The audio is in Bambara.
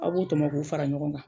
Aw b'u tɔmɔn k'u fara ɲɔgɔn kan.